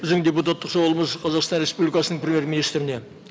біздің депутаттық сауалымыз қазақстан республикасының премьер министріне